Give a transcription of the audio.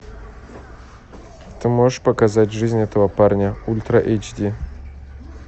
ты можешь показать жизнь этого парня ультра эйч ди